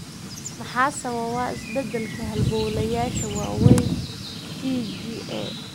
Maxaa sababa beddelka halbowlayaasha waaweyn (TGA)?